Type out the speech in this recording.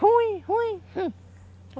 Ruim, ruim, rum.